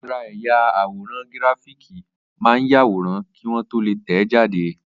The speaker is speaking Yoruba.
Ara ẹ̀yà àwòrán gíráfìkì máa ń yàwòrán kí wọ́n tó lè tẹ̀ẹ́ jáde